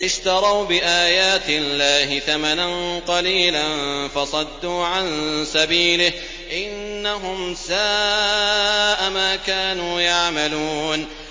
اشْتَرَوْا بِآيَاتِ اللَّهِ ثَمَنًا قَلِيلًا فَصَدُّوا عَن سَبِيلِهِ ۚ إِنَّهُمْ سَاءَ مَا كَانُوا يَعْمَلُونَ